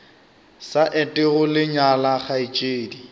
sa etego le nyala kgaetšedi